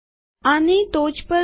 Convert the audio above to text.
આની ટોચ પર જાઓ